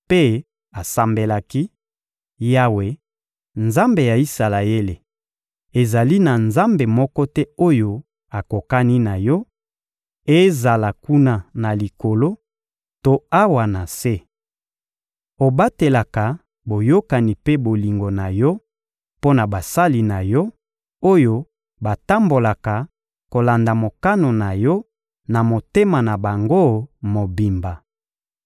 mpe asambelaki: «Yawe, Nzambe ya Isalaele, ezali na nzambe moko te oyo akokani na Yo, ezala kuna na likolo to awa na se! Obatelaka boyokani mpe bolingo na Yo mpo na basali na Yo, oyo batambolaka kolanda mokano na Yo na motema na bango mobimba.